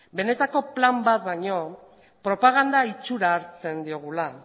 benetako plan bat baino propaganda itxura hartzen diogula